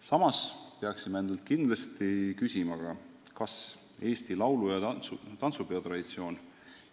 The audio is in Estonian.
Samas peaksime endalt kindlasti küsima, kas Eesti laulu- ja tantsupeo traditsioon